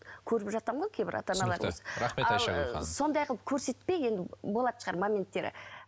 көріп жатамын ғой кейбір ата аналарда сондай қылып көрсетпей енді болатын шығар моменттері